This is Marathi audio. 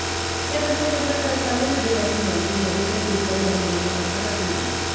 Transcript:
या घटनेनंतर तत्कालीन आदिवासी मंत्री मधुकर पिचड यांनी दिला होता राजीनामा